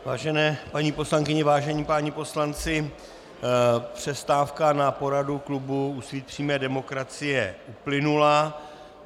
Vážené paní poslankyně, vážení páni poslanci, přestávka na poradu klubu Úsvit přímé demokracie uplynula.